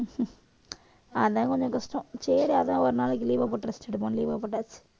அதான் கொஞ்சம் கஷ்டம் சரி அதான் ஒரு நாளைக்கு leave ஆ போட்டு rest எடுப்போம் leave ஆ போட்டாச்சு